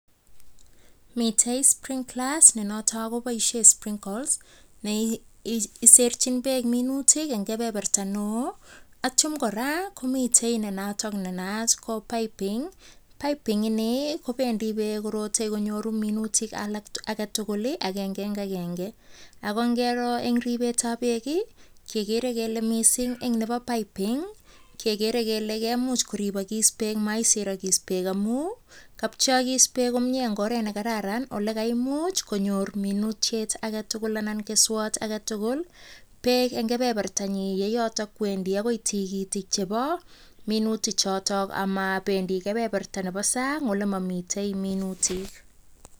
Mitei sprinklers nenoto kopoishe sprinkles ne iserchin beek minutik eng keberberta neo, anityo kora komitei nenato nenaat ko piping , piping[cs ni kobendi beek korote, konyoru minutik alak tugul, agenge eng agenge ako ngeero eng ripetab beek, kegeere kele mising eng nebo piping kegeere kele kemuch koripokis beek, maiserokis beeko amun kapcheokis beek komnye eng oret ne kararan ole kaimuch minutiet age tugul anan keswot age tugul beek eng keberbertanyin yeyoto kowendi akoi tigitik chebo minutik choto, amabendi kebeberta nebo sang ole mamite minutik.